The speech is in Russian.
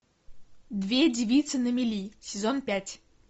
две девицы на мели сезон пять